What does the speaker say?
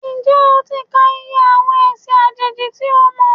Ǹjẹ́ o ti ka iye àwọn ẹ̀sìn àjèjì tí o mọ̀?